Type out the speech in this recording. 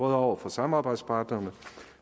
over for samarbejdspartnerne